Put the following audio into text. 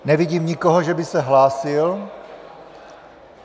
Nevidím nikoho, že by se hlásil.